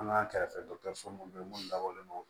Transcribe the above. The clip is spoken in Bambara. An ka kɛrɛfɛdɔkitɛriso minnu bɛ yen minnu dabɔlen don